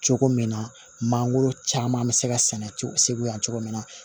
Cogo min na mangoro caman bɛ se ka sɛnɛ segu yan cogo min na